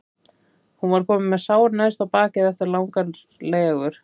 Hún var komin með sár neðst á bakið eftir langar legur.